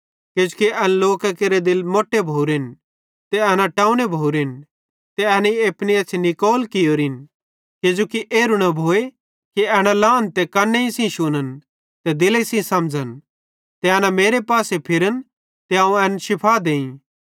किजोकि एन लोकां केरे दिले मोट्टे भोरोरेन ते एना टोव्ने भोरोरेन ते एनेईं अपनी एछ़्छ़ी निकोल कियोरिन किजोकि एरू न भोए कि एना लहन ते कन्न सेइं शुन्न ते दिले सेइं समझ़न ते एना मेरे पासे फिरन ते अवं एन शीफा देईं